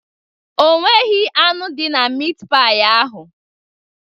Onweghị anụ dị na mit pai ahụ.